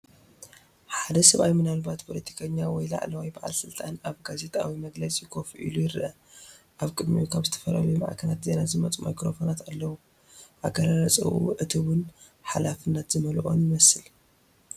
ሓደ ሰብኣይ ምናልባት ፖለቲከኛ ወይ ላዕለዋይ በዓል ስልጣን፡ ኣብ ጋዜጣዊ መግለጺ ኮፍ ኢሉ ይረአ። ኣብ ቅድሚኡ ካብ ዝተፈላለያ ማዕከናት ዜና ዝመጹ ማይክሮፎናት ኣለዉ። ኣገላልጻኡ ዕቱብን ሓላፍነት ዝመልኦን ይመስል።